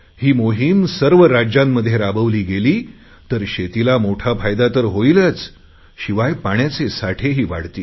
ही मोहिम सर्व राज्यांमध्ये राबवली गेली तर शेतीला मोठा फायदा तर होईलच शिवाय पाण्याचे साठेही वाढतील